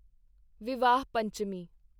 Vivah Panchami